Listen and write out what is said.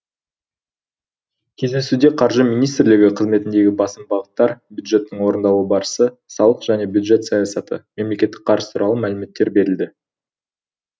кездесуде қаржы министрлігі қызметіндегі басым бағыттар бюджеттің орындалу барысы салық және бюджет саясаты мемлекеттік қарыз туралы мәліметтер берілді